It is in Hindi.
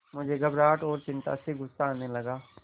मुझे घबराहट और चिंता से गुस्सा आने लगा